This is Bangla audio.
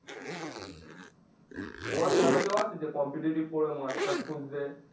তোমার জানা কেউ আছে যে competetive পড়বে master খুঁজছে